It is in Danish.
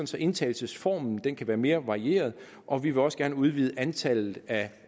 så indtagelsesformen kan være mere varieret og vi vil også gerne udvide antallet af